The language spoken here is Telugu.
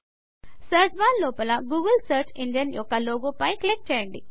సర్చ్ బార్ లోపల గూగుల్ సర్చ్ ఇంజన్ యొక్క లోగో పై క్లిక్ చేయండి